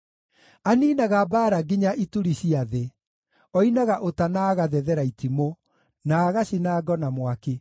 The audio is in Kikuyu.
Aniinaga mbaara nginya ituri cia thĩ; oinaga ũta na agathethera itimũ, na agacina ngo na mwaki.